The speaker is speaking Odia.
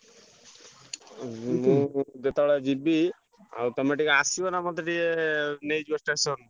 ମୁଁ ଯେତବେଳେ ଯିବି ଆଉ ତମେ ଟିକେ ଆସିବ ନା ମତେ ଟିକେ ନେଇଯିବ station